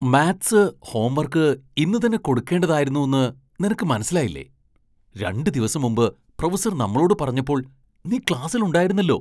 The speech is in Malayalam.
മാത്സ് ഹോം വർക്ക് ഇന്ന് തന്നെ കൊടുക്കുകേണ്ടതായിരുന്നു ന്ന് നിനക്ക് മനസ്സിലായില്ലേ? രണ്ട് ദിവസം മുമ്പ് പ്രൊഫസർ നമ്മളോട് പറഞ്ഞപ്പോൾ നീ ക്ലാസ്സിൽ ഉണ്ടായിരുന്നല്ലോ.